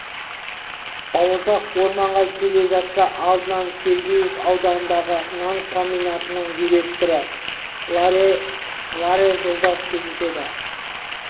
бауырсақ орманға келе жатса алдынан сол сергеев ауданындағы нан комбинатының директоры лаер жолдас кездеседі